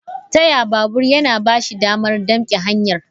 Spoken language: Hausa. Taya babur yana ba shi damar damke hanyar.